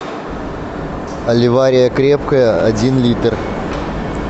аливария крепкая один литр